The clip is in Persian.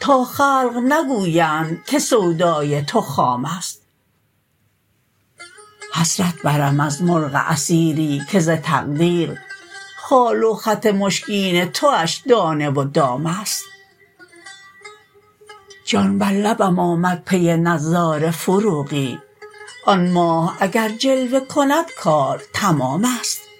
تا خلق نگویند که سودای تو خام است حسرت برم از مرغ اسیری که ز تقدیر خال و خط مشکین تواش دانه و دام است جان بر لبم آمد پی نظاره فروغی آن ماه اگر جلوه کند کار تمام است